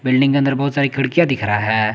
Building के अंदर बहुत सारी खिड़कियां दिख रहा है।